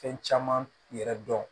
Fɛn caman yɛrɛ dɔn